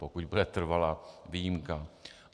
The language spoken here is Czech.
Pokud bude trvalá výjimka.